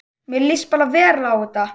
Mér líst bara vel á þetta